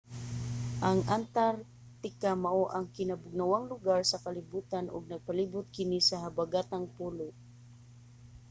ang antarctica mao ang kinabugnawang lugar sa kalibotan ug nagpalibot kini sa habagatang polo